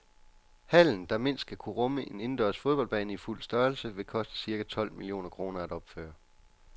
Hallen, der mindst skal kunne rumme en indendørs fodboldbane i fuld størrelse, vil koste cirka tolv millioner kroner at opføre.